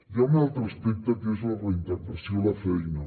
hi ha un altre aspecte que és la reintegració a la feina